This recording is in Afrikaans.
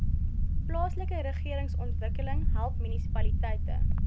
plaaslikeregeringsontwikkeling help munisipaliteite